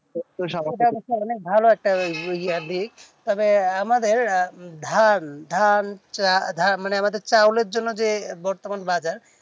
ভালো একটা ইয়ে ইয়ে আর কি তবে আমাদের আহ ধান ধান ধান মানে আমাদের চাউলের জন্য যে বর্তমান বাজার